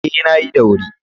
Ee, na yi da wuri.